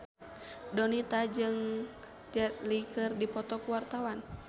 Donita jeung Jet Li keur dipoto ku wartawan